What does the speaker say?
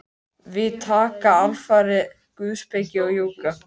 Við taka alfarið guðspeki og jóga.